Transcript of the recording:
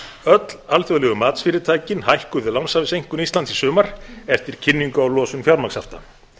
öll alþjóðlegu matsfyrirtækin hækkuðu lánshæfiseinkunn íslands í sumar eftir kynningu á losun fjármagnshafta